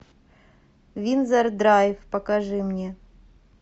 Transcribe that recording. виндзор драйв покажи мне